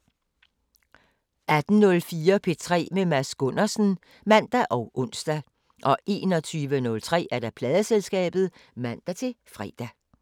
18:04: P3 med Mads Gundersen (man og ons) 21:03: Pladeselskabet (man-fre)